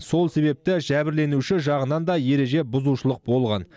сол себепті жәбірленуші жағынан да ереже бұзушылық болған